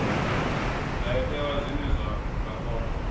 ndayotewa zwine vha nga kona